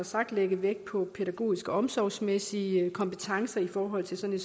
sagt lægge vægt på pædagogiske og omsorgsmæssige kompetencer i forhold til sådan